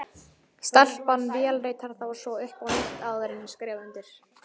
Stelpan vélritar þá svo upp á nýtt, áður en ég skrifa undir.